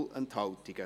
Non Enthalten